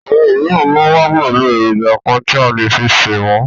Àwọn òmíràn máa ń wà pẹ̀lú èròjà kan tí a lè fi ṣe wọn.